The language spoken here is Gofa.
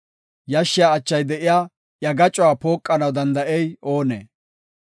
Yashshiya achay de7iya iya gacuwa pooqanaw danda7ey oonee?